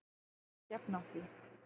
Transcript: Þau hafa ekki efni á því.